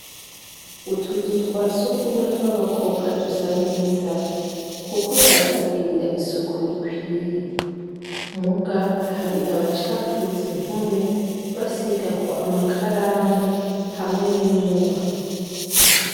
Utuzu twasugumwe tw'abakobwa dusa neza kuko baratubwirira isuku rikwiye muga hari abacafuze impome basiga ko amakaramu hamwe n'ingwa.